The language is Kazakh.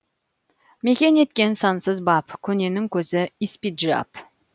мекен еткен сансыз бап көненің көзі испиджаб